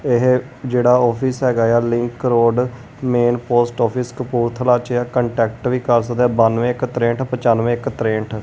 ਇਹ ਜਿਹੜਾ ਆਫਿਸ ਹੈਗਾ ਆ link road main post office Kapurthala ਚ ਕੰਟੈਕਟ ਵੀ ਕਰ ਸਕਦੇ ਬਾਨਵੇ ਇੱਕ ਤ੍ਰਹਂਟ ਪੰਚਾਨਵੇਂ ਇੱਕ ਤ੍ਰਹਂਟ।